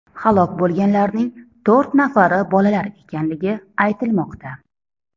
Halok bo‘lganlarning to‘rt nafari bolalar ekanligi aytilmoqda.